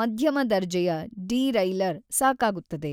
ಮಧ್ಯಮ ದರ್ಜೆಯ ಡಿರೈಲರ್‌ ಸಾಕಾಗುತ್ತದೆ.